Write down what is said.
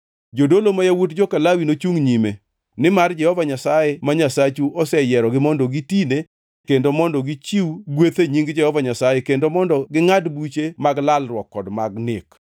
Jodolo, ma yawuot joka Lawi nochungʼ nyime, nimar Jehova Nyasaye ma Nyasachu oseyierogi mondo gitine kendo mondo gichiw gweth e nying Jehova Nyasaye kendo mondo gingʼad buche mar larruok kod mag nek.